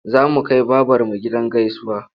Za mu kai babarmu gidan gaisuwa.